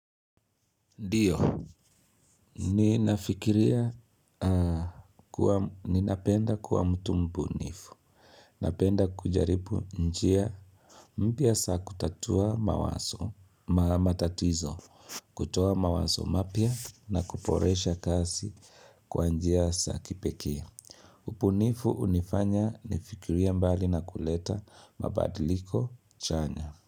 Ndiyo, nina fikiria kuwa, ni napenda kuwa mtu mbunifu, napenda kujaripu njia, mpya za kutatua matatizo, kutoa mawazo mapya, na kuboresha kazi kwa njia za kipekee. Ubunifu unifanya ni fikirie mbali na kuleta mabadiliko chanya.